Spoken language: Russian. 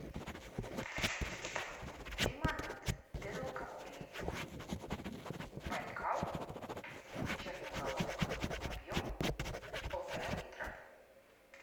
лимонад безалкогольный байкал черноголовка объем полтора литра